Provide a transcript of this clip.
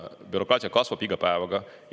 Bürokraatia kasvab iga päevaga.